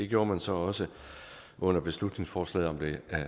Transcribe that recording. gjorde man så også under beslutningsforslaget om det